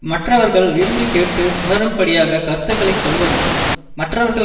மற்றவர்கள் விரும்பிக் கேட்டு உணரும்படியாகக் கருத்துக்களை சொல்வதும் மற்றவர்கள்